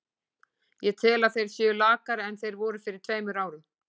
Ég tel að þeir séu lakari en þeir voru fyrir tveimur árum.